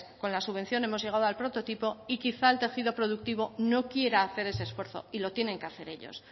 con las subvención hemos llegado al prototipo y quizás el tejido productivo no quiera hacer ese esfuerzo y lo tienen que hacer ellos